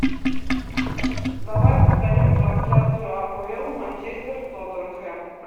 давай повторим трансляцию апл манчестер тоттенхэм